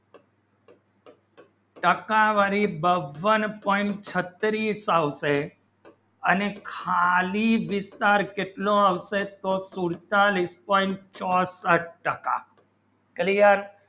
ટક્કા વાળી બાવન point છત્રીસ આવશે અને ખાલી વિસ્તાર કેટલો આવશે તો કુલચા weak point છત્રીસ ટક્કા clear